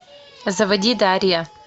заводи дарья